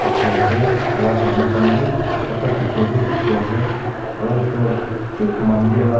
dikhe ase alag manu khan bhi photo khiche bhi dikhi ase aru etu thik mandir lah.